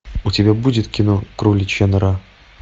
у тебя будет кино кроличья нора